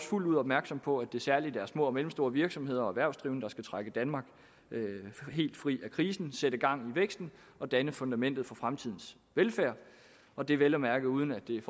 fuldt ud opmærksomme på at det særligt er små og mellemstore virksomheder og erhvervsdrivende der skal trække danmark helt fri af krisen sætte gang i væksten og danne fundamentet for fremtidens velfærd og det er vel at mærke uden at det er